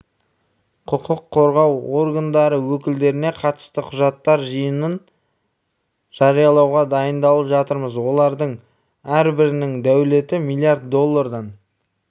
құқық қорғау органдары өкілдеріне қатысты құжаттар жиынын жариялауға дайындалып жатырмыз олардың әрбірінің дәулеті млрд доллардан